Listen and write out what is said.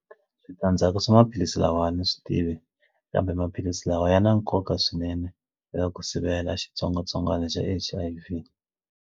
Switandzhaku swa maphilisi lawa ni swi tivi kambe maphilisi lawa ya na nkoka swinene eka ku sivela xitsongwatsongwana xa H_I_V.